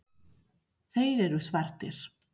Þeir eru svartir.